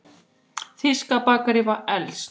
Þýska bakaríið var elst.